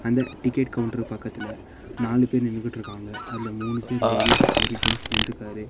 இந்த ticket counter பக்கத்துல நாலுபேர் நின்னுகிட்டுருக்காங்க அதுல மூணு பேர் லேடீஸ் ஒரு ஜென்ஸ் நின்ட்ருக்காரு.